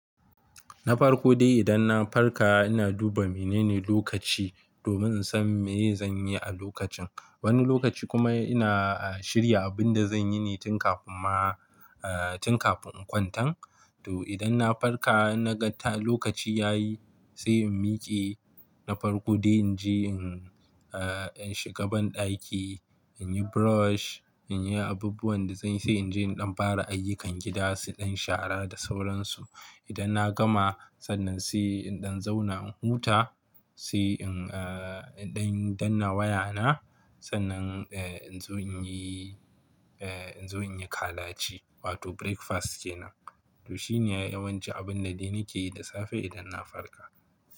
Na farko dai idan na farka ina duba menene lokaci domin in san me ye zan yi a lokacin. Wani lokaci kuma ina shirya abin da zan yi ne tun kafin ma, eh, tun kafin in kwantan. To idan na farka in na ga lokaci ya yi, sai in miƙe. Na farko dai in je in, eh, in shiga banɗaki, in yi brush, in yi abubuwan da zan yi, sai in je in ɗan fara ayyukan gida, su dan shara da sauransu. Idan na gama, sannan sai in ɗan zauna in huta, sai in, eh, in ɗan, danna wayana. Sannan, eh, in zo in yi, eh, in zo in yi kalaci wato breakfast kenan. To shine yawanci abun da dai nake yi da safe idan na farka.